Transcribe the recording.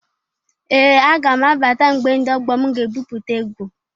Ee! Aga m abata mgbe ndị ọgbọ m ga ebupụta egwu.